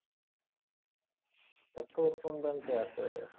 তা তোর কোন ব্যঙ্কে আছে অ্যাকাউন্ট?